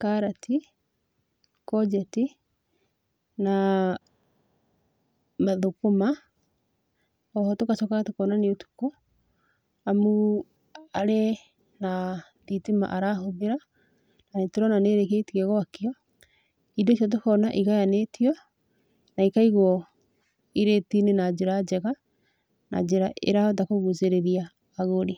karati, ngojeti na mathũkũma. Oho tũgacoka tũkona nĩ ũtukũ amu arĩ na thitima arahũthĩra na nĩtũrona nĩ ĩrĩkĩtie gwakio, indo icio tũkona igayanĩtio na ikaigwo irĩti-inĩ na njĩra njega, na njĩra ĩrahota kũgucĩrĩria agũri.